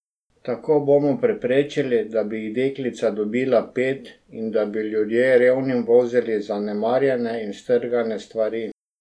Tako bomo preprečili, da bi jih deklica dobila pet in da bi ljudje revnim vozili zanemarjene in strgane stvari.